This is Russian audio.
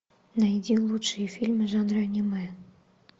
найди лучшие фильмы жанра аниме